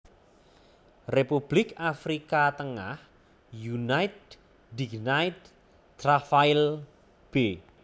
Republik Afrika Tengah Unité Dignité Travail b